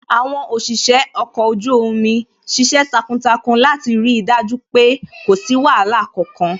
Àwọn òṣìṣẹ́ ọkọ̀ ojú omi ṣiṣẹ́ takuntakun láti rí dájú pé kò sí wàhálà kankan